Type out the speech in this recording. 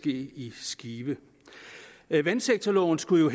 i skive vandsektorloven skulle jo